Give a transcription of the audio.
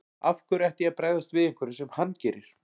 Af hverju ætti ég að bregðast við einhverju sem hann gerir.